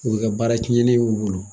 O be kɛ baara tiɲɛnen y'u bolo.